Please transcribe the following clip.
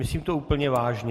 Myslím to úplně vážně.